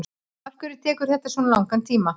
afhverju tekur þetta svona langan tíma